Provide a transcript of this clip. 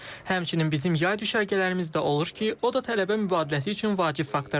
Həmçinin bizim yay düşərgələrimiz də olur ki, o da tələbə mübadiləsi üçün vacib faktordur.